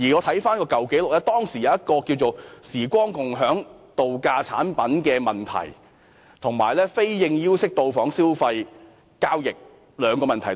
我翻查舊紀錄，知悉當時發生兩個嚴重問題，涉及"時光共享"度假產品，及以非應邀方式訂立的消費交易。